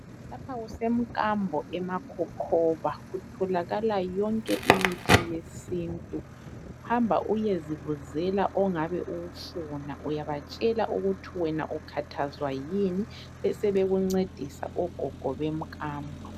Lapha kusemkambo emakhokhoba. Kutholakala yonke imithi yesintu. Hamba uyezibuzela ongabe uwufuna. Uyabatshela ukuthi wena ukhathazwa yini, besebekuncedisa ogogo bemkambo.